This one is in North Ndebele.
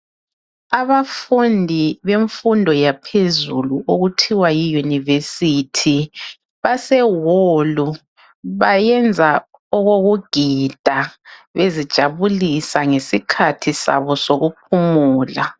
Abafundi bemfundo yaphezulu okuthiwa yiyunivesithi basehall bayenza okokugida bezijabulisa ngesikhathi sabo sokuphumula.